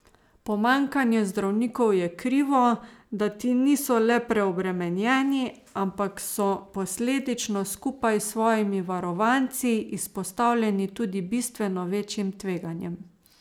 Pomanjkanje zdravnikov je krivo, da ti niso le preobremenjeni, ampak so posledično, skupaj s svojimi varovanci, izpostavljeni tudi bistveno večjim tveganjem.